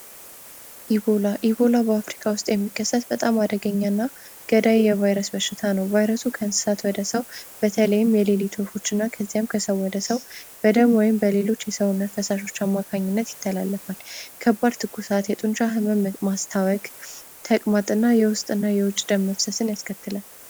ኢቮላ በአፍሪካ ውስጥ የሚከሰት በጣም አደገኛ እና ገዳይ የቫይረስ በሽታ ነው ቫይረሱ ከእንስሳት ወደ ሰው በተለይም የሌሊቱና ከዚያም ከሰው ወደ ሰው በደም ወይም በሌሎች የሰውነት አማካኝነት ይተላለፋል። ከባድ ትኩሳት የጡንቻ ህመም ማስታወቅ ተቅማጥና የውስጥ ደመወዝን ያስከትላል።